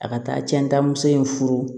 A ka taa cɛnta muso in furu